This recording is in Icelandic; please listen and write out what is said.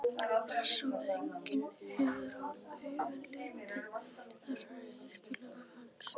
Hressó að enginn hefði augum litið þessar yrkingar hans?